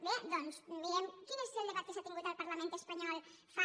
bé doncs mirem quin és el debat que s’ha tingut al parlament espanyol fa